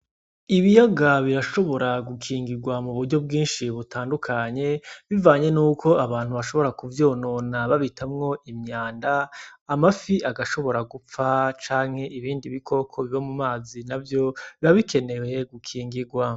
Ibiyaga birashobora gukingigwa mu buryo bwinshi butandukanye bivanye nuko abantu bashobora kuvyonona babitamwo imyanda amafi agashobora gupfa canke ibindi bikoko biba mu mazi navyo biba bikenewe gukingigwa.